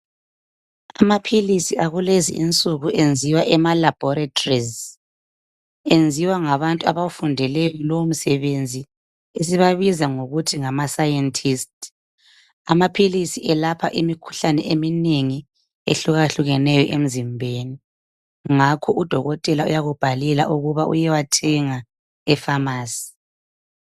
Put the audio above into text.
Amaphilisi akulezi insuku enziwa emalabhorethi. Enziwa ngabantu abafundele lowo msebenzi esibabiza ngokuthi ngama "scientists ".Amaphilisi elapha imikhuhlane eminengi ehlukahlukeneyo emzimbeni ngakho udokotela uyakubhalela ukuba uyewathenga e"pharmacy ".